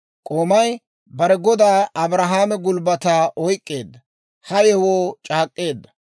K'oomay bare godaa Abrahaame gulbbataa oyk'k'eedda; ha yewoo c'aak'k'eedda.